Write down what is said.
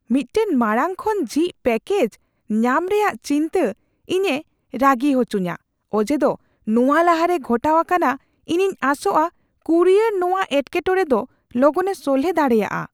ᱢᱤᱫᱴᱟᱝ ᱢᱟᱲᱟᱝ ᱠᱷᱚᱱ ᱡᱷᱤᱡ ᱯᱮᱠᱮᱡᱽ ᱧᱟᱢ ᱨᱮᱭᱟᱜ ᱪᱤᱱᱛᱟᱹ ᱤᱧᱮ ᱨᱟᱹᱜᱤ ᱦᱚᱪᱚᱧᱟ ᱚᱡᱮᱫᱚ ᱱᱚᱶᱟ ᱞᱟᱦᱟᱨᱮ ᱜᱷᱚᱴᱟᱣ ᱟᱠᱟᱱᱟ; ᱤᱧᱤᱧ ᱟᱸᱥᱚᱜᱼᱟ ᱠᱩᱨᱤᱭᱟᱨ ᱱᱚᱶᱟ ᱮᱴᱠᱮᱴᱚᱬᱮ ᱫᱚ ᱞᱚᱜᱚᱱᱮ ᱥᱚᱞᱦᱮ ᱫᱟᱲᱮᱭᱟᱜᱼᱟ ᱾